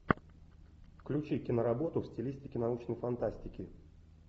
включи киноработу в стилистике научной фантастики